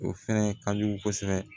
O fɛnɛ ka jugu kosɛbɛ